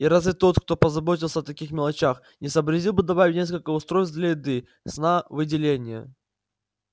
и разве тот кто позаботился о таких мелочах не сообразил бы добавить несколько устройств для еды сна выделения